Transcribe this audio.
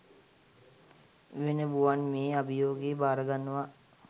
වෙන බුවන්මේ අභියෝගෙ බාරගන්නවා